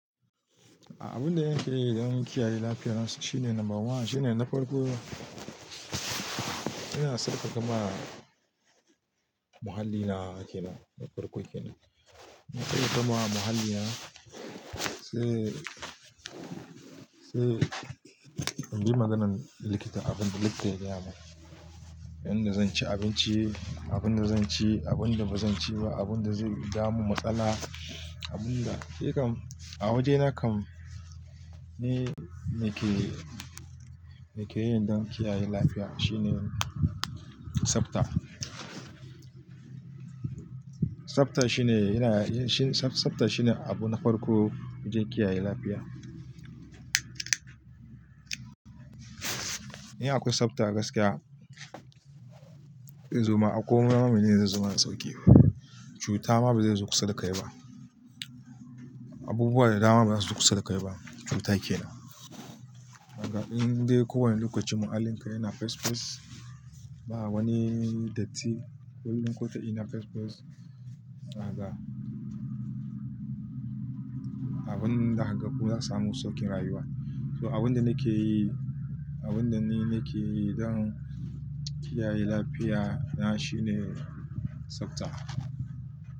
Abin da yake don kiyaye lafiya na shine namba one shine na farko. Ina tsaface muhalli na na farko kensn. Inna kai na mahalli na sai, sai in bi maganan likita abin da likita ya gaya min. Yayin da zan ci abinci, abin da zan ci, abin da bazan ci ba, abin da zai jawo mun matsala, abin da. Shikam a waje na kam ni nake, nake yi don kiyaye lafiya shine tsabta. Tsabta shine yana, shi tsabta shine abu na farko don kiyaye lafiya. In akwai tsabta a gaskiya, in zuma a koma mamaye zai zama sauƙi. Cuta ma bazai zo kusa da kai ba. Abubuwa da dama bazasu zo kusa da kai ba cuta kenan. A ga in dai kowane lokacin muhallin ka yana fesfes, ba wani datti ko duk kota ina fespas. Ina ga abin da haka zak samu saukin rayuwa. To abin da nake yi, abin da ni nake yi don kiyaye lafiya na shine tsabta.